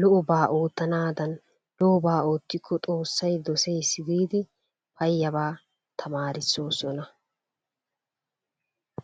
lo'obaa oottanaadan lo'obaa oottikko xoossay doseesi giidi payyabaa tamaarissoosona.